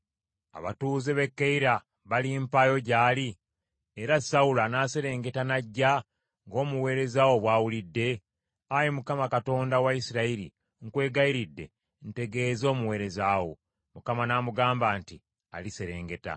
Abatuuze b’e Keyira balimpaayo gy’ali? Era Sawulo anaaserengeta n’ajja, ng’omuweereza wo bw’awulidde? Ayi Mukama , Katonda wa Isirayiri, nkwegayiridde, tegeeza omuweereza wo.” Mukama n’amugamba nti, “Aliserengeta.”